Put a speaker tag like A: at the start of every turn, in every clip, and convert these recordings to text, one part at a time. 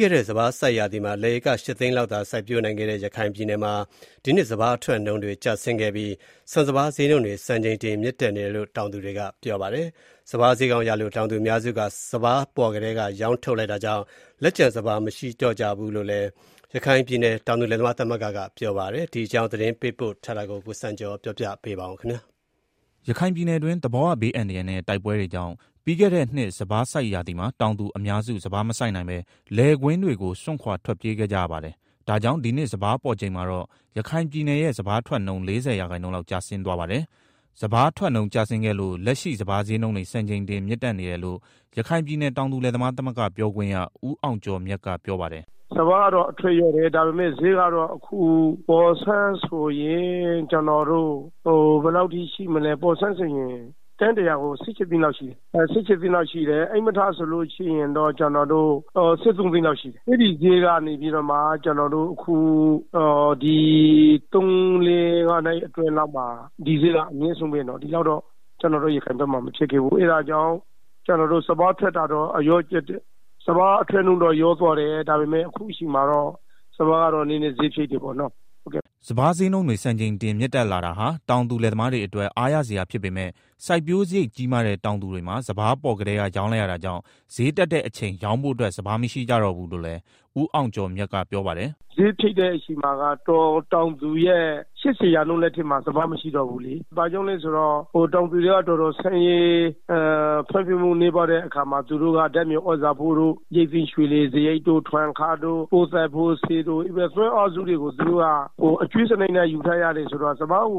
A: ခဲ့တဲ့ စပါးစိုက်ရာသီမှာ လယ်ဧက ၈သိန်းလောက်သာစိုက်ပျိုးနိုင်ခဲ့တဲ့ ရခိုင်ပြည်နယ်မှာ ဒီနှစ် စပါးအထွက်နှုန်းတွေ ကျဆင်းခဲ့ပြီး ဆန်စပါးဈေးနှုန်းတွေစံချိန်တင်မြင့်တက်နေတယ်လို့ တောင်သူတွေက ပြောပါတယ်။ စပါးဈေးကောင်းရလို့ တောင်သူအများစုက စပါးပေါ်ကတည်း က ရောင်းလိုက်ကြတာကြောင့်၊ လက်ကျန် စပါးမရှိကြတော့ဘူးလို့ ရခိုင်ပြည်နယ် တောင် သူလယ်သမားသမဂ္ဂ ကပြောပါတယ်။ ဒီအကြောင်း သတင်းပေးပို့ထားတာကို ကိုစံကျော်က တင်ပြပေးပါမယ်။ ရခိုင်ပြည်နယ်တွင်း သဘာဝဘေးအန္တရာယ်နဲ့ တိုက်ပွဲတွေကြောင့် ပြီးခဲ့တဲ့နှစ်စပါးစိုက်ရာသီမှာ တောင်သူအများစု စပါးမစိုက်နိုင်ပဲ လယ်ကွင်းတွေကို စွန့်ခွာထွက်ပြေးခဲ့ကြရပါတယ်။ ဒါကြောင့် ဒီနှစ် စပါးပေါ်ချိန်မှာတော့ ရခိုင်ပြည်နယ်ရဲ့ စပါးထွက် နှုန်း ၄၀ ရာခိုင်နှုန်းလောက်ကျဆင်းသွားပါတယ်။ စပါးထွက်နှုန်းကျဆင်းခဲ့လို့ လက်ရှိ စပါးဈေးနှုန်းတွေစံချိန်တင်မြင့်တက်နေတယ်လို့ ရခိုင်ပြည်နယ်တောင်သူလယ်သမားသမဂ္ဂပြောခွင့်ရ ဦးအောင်ကျော်မြတ်က ပြောပါတယ်။
B: “ စပါးကတော့ အထွက်လျော့တယ်။ ဒါပေမယ့် အခု ဈေးကတော့ ပေါ်ဆန်းဆိုရင် တင်း ၁၀၀ ကို ၁၈သိန်းလောက်ရှိတယ်၊ ဧည့်မထ စပါးဆိုလို့ရှိရင်တော့ ကျနော်တို့ ၁၃ သိန်းလောက်ရှိတယ်၊ အဲဒီဈေးက ကျနော်တို့ ဒီသုံးလေး ငါးနှစ်အတွင်းမှာ ဒီဈေးကအမြင့်ဆုံးပဲနော်၊ ဒီလောက်ဈေး လောက်ရခိုင်ဖက်မှာ မဖြစ်ခဲ့ဘူး၊အဲတာကြောင့် စပါးအထွက် နှုန်းကျတယ်ဆိုပေမယ့် ဈေးကောင်းတော့ ရတယ်ပေါ့နော်
A: ။” စပါးဈေးနှုန်းတွေ စံချိန်တင်မြင့်တက်တာဟာ တောင်သူလယ်သမားတွေအတွက် အားရစရာဖြစ်ပေမယ့် စိုက်ပျိုးစရိတ်ကြီးမားတဲ့ တောင်သူတွေမှာ စပါးပေါ်ကတည်းက ရောင်းလိုက်ရတာကြောင့် ဈေးတက်တဲ့အချိန် ရောင်းဖို့အတွက် စပါးမရှိကြတော့ဘူးလို့လည်း ဦးအောင်ကျော်မြတ်က ပြောပါတယ်။
B: “ဈေးဖြစ်တဲ့ အချိန်မှာက တောင်သူရဲ့ ၈၀ ရာခိုင်နှုန်းလောက်မှာ စပါးမရှိတော့ဘူးလေ၊ ဘာကြောင့်လဲဆိုတော့ တောင်သူတွေက ဆင်းရဲပြီးတော့ဖွံ့ဖြိုးတိုးတက်မှုနည်းတဲ့အခါမှာ၊ သူတို့က ဓာတ်မြေသြဇာဖိုး၊ ရိတ်သိမ်းစရိတ် ထွန်စရိတ်တွေ ပိုးသတ်ဆေးတွေ စတဲ့ သွင်းအားစုတွေကို အကြွေးစနစ်နဲ့ ယူထားရတယ်ဆိုတော့ စပါးရိ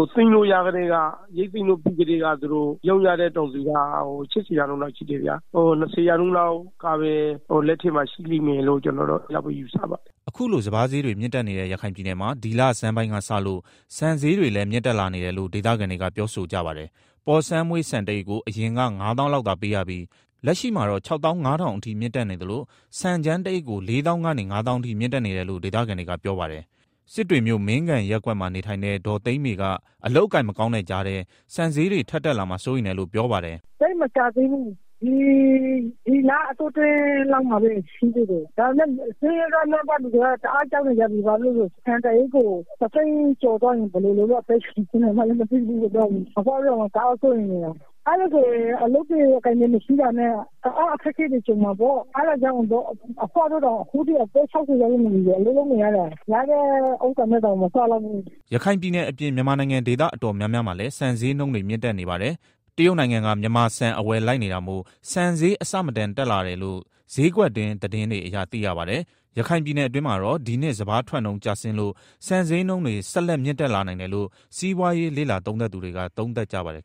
B: တ်သိမ်းပြီးကတည်းက သူတို့ ရောင်းကြတဲ့ တောင်သူက ၈၀ ရာခိုင်နှုန်းလောက်ရှိတယ်ဗျာ၊ ၂၀ ရာနှုန်းလောက်ကပဲ လက်ထဲမှာ ရှိမ
A: ယ်လို့ယူဆပါတယ်။” အခုလို စပါးဈေးတွေမြင့်တက်နေတဲ့ ရခိုင်ပြည်နယ်မှာ ဒီလဆန်းပိုင်းကစလို့ ဆန်ဈေးတွေလည်းမြင့်တက်လာနေတယ်လို့ ဒေသခံတွေက ပြောဆိုကြပါတယ်။ ပေါ်ဆန်းမွှေးဆန်တစ်အိတ်ကို အရင်က ၅သောင်းလောက်သာပေးရပြီး လက်ရှိမှာတော့ ၆၅၀၀၀ ဝန်းကျင်အထိမြင့်တက်နေသလို ဆန်ကြမ်းတစ်အိတ်ကို ၄သောင်းကနေ ၅သောင်းအထိမြင့် တက်နေတယ်လို့ဒေသခံတွေကပြောပါတယ်။ စစ်တွေမြို့ မင်းဂံရပ်ကွက်မှာ နေထိုင်တဲ့ ဒေါ်သိန်းမေကအလုပ်အကိုင်မကောင်းတဲ့ ကြားထဲ ဆန်ဈေးတွေ ထပ်တက်လာမှာကို စိုးရိမ်တယ်လို့ပြောပါတယ်
C: ။ “ သိပ်မကြာသေးဘူး ဒီလအတောအတွင်းမှာ တက်လာတာ။ ဒါပေမယ့် ဆင်းရဲနွမ်းပါးသူတွေက တအားကြောက်နေကြပြီ ဘာဖြစ်လို့လဲဆိုတော့ တသိန်းကျော်ဖြစ်သွားရင် ဘယ်လိုလုပ် မလဲ ဆိုပြီးတော့ စိုးရိမ်နေကြတယ်။ အလုပ်အကိုင်မရှိတာနဲ့ တအားအခက်အခဲတွေ ကြုံမှာပေါ့၊ အဘွားတို့ဆိုရင် အခုအသက် ၆၀ကျော်ပြီ အလုပ် လုပ်နေရသေးတယ်။လုပ်ရတာနဲ့ စားရတာမလုံလောက်ဘူး။
A: ” ရခိုင်ပြည်နယ်အပြင် မြန်မာနိုင်ငံဒေသအတော်များများမှာလည်း ဆန်ဈေးနှုန်းတွေမြင့်တက်နေပါတယ်။ တရုတ်နိုင်ငံက မြန်မာဆန်အဝယ်လိုက်နေတာမို့ ဆန်ဈေးအဆမတန်တက်လာတယ်လို့ ဈေးကွက်တွင်းသတင်းတွေအရသိရပါတယ်။ ရခိုင်ပြည်နယ်အတွင်းမှာတော့ ဒီနှစ်စပါးထွက်နှုန်းကျဆင်းလို့ ဆန်ဈေးနှုန်းတွေ ဆက်မြင့်တက်လာနိုင်တယ်လို့ စီးပွားရေးလေ့လာသူတွေက သုံးသပ်ကြပါတယ်